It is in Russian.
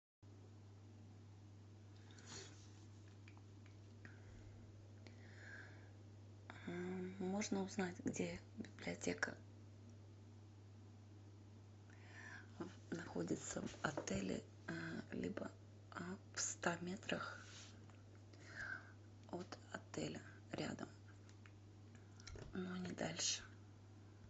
можно узнать где библиотека находится в отеле либо в ста метрах от отеля рядом но не дальше